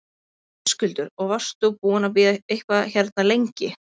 Höskuldur: Og varst þú búinn að bíða eitthvað hérna lengi?